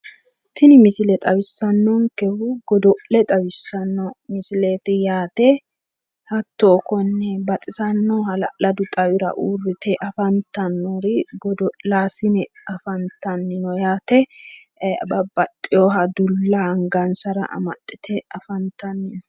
Tini misile xawissannonkehu godo'le xawissanno misileeti yaate hatto konne baxisanno hala'ladu xawira uurrite afantannori godo'laasine afantanni no yaate babbaxiyooha dulla angansara amaxxite afantanni no.